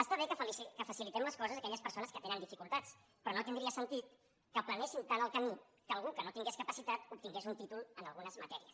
està bé que facilitem les coses a aquelles persones que tenen dificultats però no tindria sentit que aplanéssim tant el camí que algú que no tingués capacitat obtingués un títol en algunes matèries